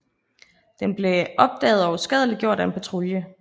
Den blev opdaget og uskadeliggjort af en patrulje